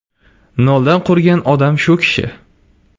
Noldan qurgan odam shu kishi.